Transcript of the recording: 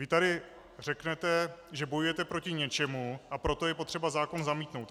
Vy tady řeknete, že bojujete proti něčemu, a proto je potřeba zákon zamítnout.